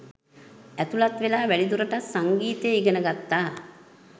ඇතුළත් වෙලා වැඩිදුරටත් සංගීතය ඉගෙන ගත්තා